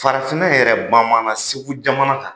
Farafinna yɛrɛ, bamanan Segu jamana kan,